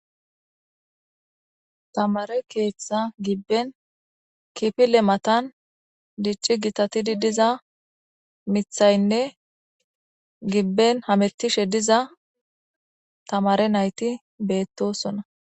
tamare keethetha gibben kipile matan dicci gitatidi diza mithaynne gibben hamettishe diza tamare nayti beettosona